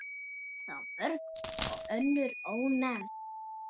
Eru þá mörg önnur ónefnd.